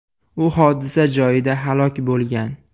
U hodisa joyida halok bo‘lgan.